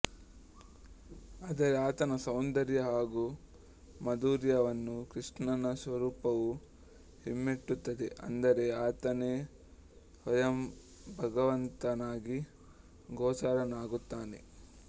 ಆದರೆ ಆತನ ಸೌಂದರ್ಯ ಹಾಗೂ ಮಾಧುರ್ಯ ವನ್ನು ಕೃಷ್ಣ ನ ಸ್ವರೂಪವು ಹಿಮ್ಮೆಟ್ಟುತ್ತದೆ ಅಂದರೆ ಆತನೇ ಸ್ವಯಂಭಗವಂತ ನಾಗಿ ಗೋಚರನಾಗುತ್ತಾನೆ